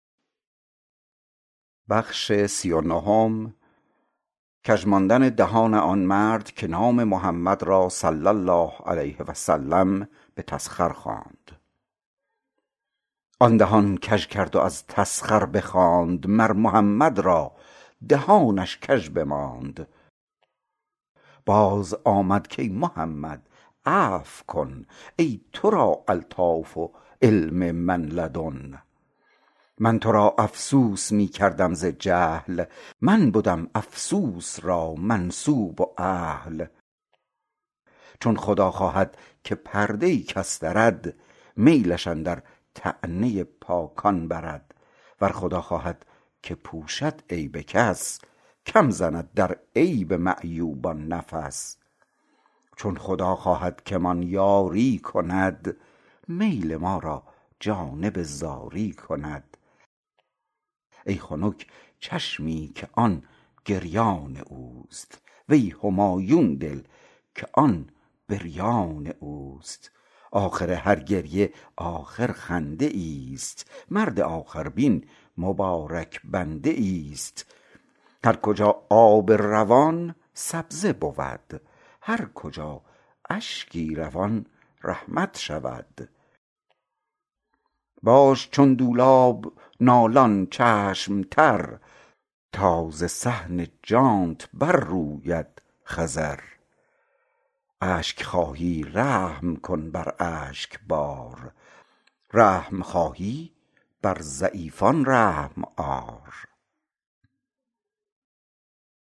آن دهان کژ کرد و از تسخر بخواند مر محمد را دهانش کژ بماند باز آمد کای محمد عفو کن ای ترا الطاف و علم من لدن من ترا افسوس می کردم ز جهل من بدم افسوس را منسوب و اهل چون خدا خواهد که پرده کس درد میلش اندر طعنه پاکان برد ور خدا خواهد که پوشد عیب کس کم زند در عیب معیوبان نفس چون خدا خواهد که مان یاری کند میل ما را جانب زاری کند ای خنک چشمی که آن گریان اوست وی همایون دل که آن بریان اوست آخر هر گریه آخر خنده ایست مرد آخر بین مبارک بنده ایست هر کجا آب روان سبزه بود هر کجا اشکی روان رحمت شود باش چون دولاب نالان چشم تر تا ز صحن جانت بر روید خضر اشک خواهی رحم کن بر اشک بار رحم خواهی بر ضعیفان رحم آر